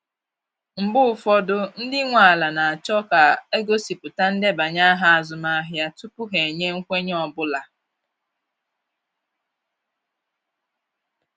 Mgbe ụfọdụ, ndị nwe ala na achọ ka a gosipụta ndebanye aha azụmahịa tupu ha enye nkwenye ọ bụla